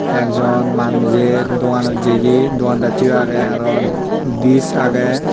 ekjon manuje doganot jeye doandacche yo agey arow dis agey.